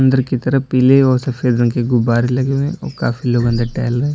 इधर की तरफ पीले और सफेद रंग के गुब्बारे लगे हुए हैं और काफी लोग अंदर टहल रहे।